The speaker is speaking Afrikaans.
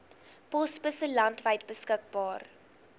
posbusse landwyd beskikbaar